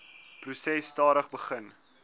proses stadig begin